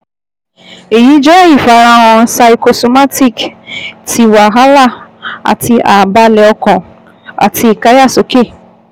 Eyi jẹ ifarahan psychosomatic ti wahala ati ààbalẹ̀ ọkàn àti ìkáyàsókè